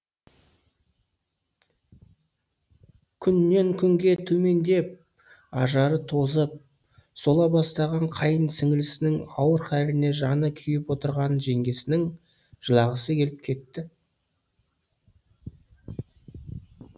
күннен күнге төмендеп ажары тозып сола бастаған қайын сіңілісінің ауыр халіне жаны күйіп отырған жеңгесінің жылағысы келіп кетті